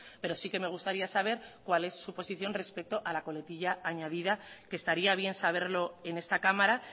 pero sí que me gustaría saber cuál es su posición respecto a la coletilla añadida que estaría bien saberlo en esta cámara